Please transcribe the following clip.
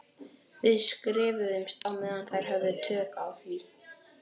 Við skrifuðumst á meðan þær höfðu tök á því.